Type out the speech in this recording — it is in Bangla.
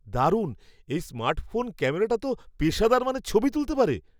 দারুণ! এই স্মার্টফোন ক্যামেরাটা তো পেশাদার মানের ছবি তুলতে পারে।